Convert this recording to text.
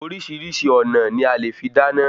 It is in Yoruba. Orísìírísìí ọ̀nà ni a lè fi dáná